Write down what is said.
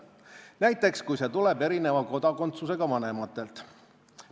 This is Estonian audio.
Näiteks, kui see tuleb erineva kodakondsusega vanematelt.